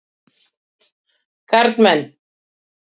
Kalman